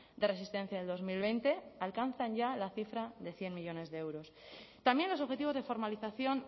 de resistencia del dos mil veinte alcanzan ya la cifra de cien millónes de euros también los objetivos de formalización